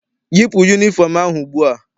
Yipu yunifọm ahụ ugbua!